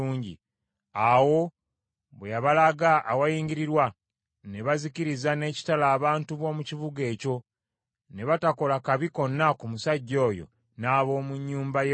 Awo bwe yabalaga awayingirirwa, ne bazikiriza n’ekitala abantu b’omu kibuga ekyo; ne batakola kabi konna ku musajja oyo n’ab’omu nnyumba ye bonna.